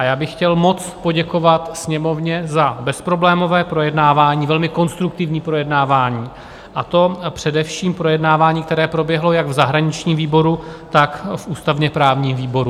A já bych chtěl moc poděkovat Sněmovně za bezproblémové projednávání, velmi konstruktivní projednávání, a to především projednávání, které proběhlo jak v zahraničním výboru, tak v ústavně-právním výboru.